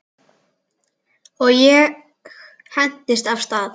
Og ég hentist af stað.